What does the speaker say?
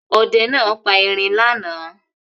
Ọdẹ náà pa erin lánàá.